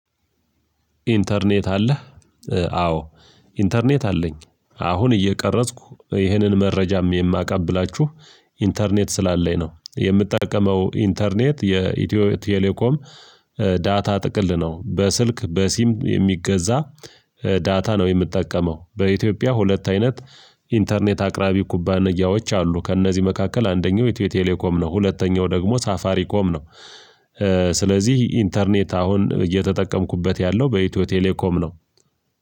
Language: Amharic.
ኢንተርኔት አለህ ኧ አዎ ኢንተርኔት አለኝ አሁን እየቀረጽኩ ይኸንን መረጃም የማቀብላችሁ ኢንተርኔት ስላለኝ ነው የምጠቀመው። ኢንተርኔት የኢትዮ ቴሌኮም ዳታ ጥቅል ነው። በስልክ በሲም የሚገዛ ኧ ዳታ ነው የምጠቀመው። በኢትዮጵያ ሁለት አይነት ኢንተርኔት አቅራቢ ኩባንያዎች አሉ። ከእነዚህ መካከል አንደኛው የቴሌኮም ነው ሁለተኛው ደግሞ ሳፋሪ ኮም ነው። ኧ ስለዚህ ኢንተርኔት አሁን እየተጠቀምኩበት ያለው በኢትዮ ቴሌኮም ነው።